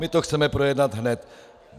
My to chceme projednat hned.